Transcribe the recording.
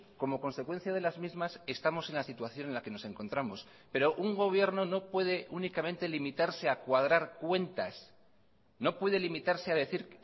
como consecuencia de las mismas estamos en la situación en la que nos encontramos pero un gobierno no puede únicamente limitarse a cuadrar cuentas no puede limitarse a decir